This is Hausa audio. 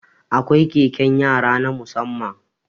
Akwai keken yara na musamman